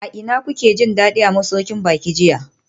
A ina kuke jin dadi a masaukin baki jiya?